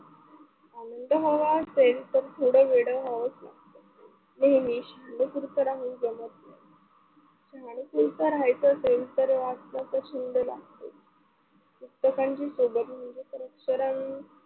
आनंद हवा तर थोडा वेड व्हावच लागतं, म्हणून शहाणा खुरपडा होऊन जमत नाही.